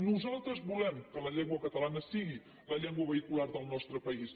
nosaltres volem que la llengua catalana sigui la llengua vehicular del nostre país